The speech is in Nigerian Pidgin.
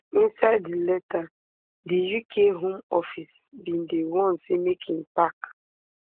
inside di letter di uk home office bin dey warn say make im park